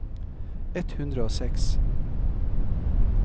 ett hundre og seks